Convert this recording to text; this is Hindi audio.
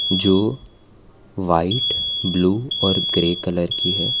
जो वाइट ब्लू और ग्रे कलर की है।